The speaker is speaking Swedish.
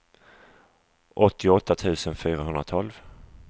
åttioåtta tusen fyrahundratolv